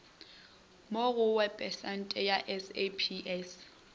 mo go webesaete ya saps